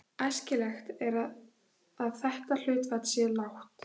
Æskilegt er að þetta hlutfall sé lágt.